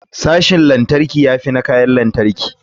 Sashin lantarki ya fi na kayan lantarki ne.